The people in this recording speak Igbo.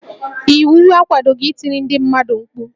Iwu akwadoghi itiri ndị mmadụ mkpu